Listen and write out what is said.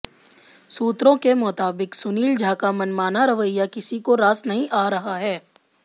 सूत्रों के मुताबिक सुनील झा का मनमाना रवैया किसी को रास नहीं आ रहा है